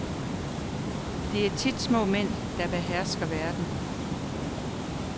Det er tit små mænd, der behersker verden.